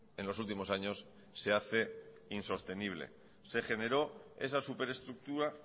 en los últimos años se hace insostenible se generó esa superestructura